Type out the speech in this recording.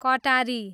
कटारी